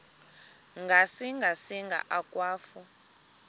ngasinga singa akwafu